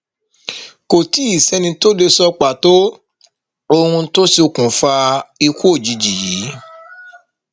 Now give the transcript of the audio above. kò tì í sẹni tó lè sọ pàtó ohun tó ṣokùnfà ikú òjijì yìí